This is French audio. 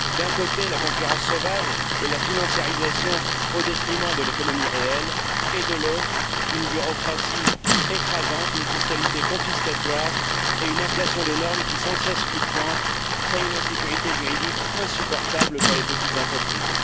D'un côté, la concurrence sauvage et la financiarisation au détriment de l'économie réelle et, de l'autre, une bureaucratie écrasante, une fiscalité confiscatoire et une inflation de normes qui, sans cesse fluctuante, crée une insécurité juridique insupportable pour les petites entreprises.